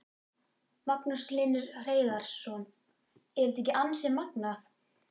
Magnús Hlynur Hreiðarsson: Er þetta ekki ansi magnað?